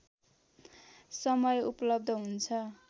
समय उपलब्ध हुन्छ